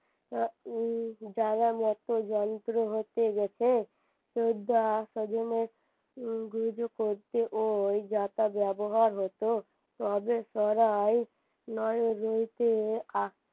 জানামতে যন্ত্র হতে গেছে উম ওই যাতা ব্যবহার হত তবে সরাই নয় রইতে আহ